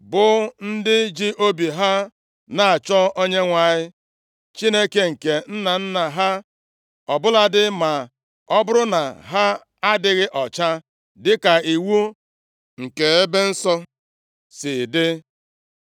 bụ ndị ji obi ha na-achọ Onyenwe anyị Chineke nke nna nna ha, ọ bụladị ma ọ bụrụ na ha adịghị ọcha dịka iwu nke ebe nsọ si dị.”